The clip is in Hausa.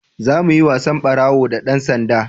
za mu yi wasan ɓarawo da dan sanda